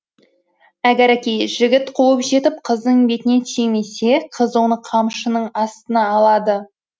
әгәрәки жігіт қуып жетіп қыздың бетінен сүймесе қыз оны қамшының астына алады